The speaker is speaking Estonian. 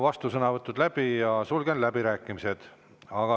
Vastusõnavõtud on läbi ja sulgen läbirääkimised.